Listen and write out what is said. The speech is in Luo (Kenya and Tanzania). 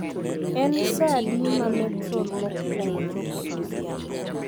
En saa adi ma metrol mokwongo chopo e odhiambo?